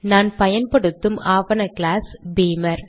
நான் பயன்படுத்தும் ஆவண கிளாஸ் பீமர்